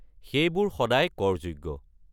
সেইবোৰ সদায় কৰযোগ্য।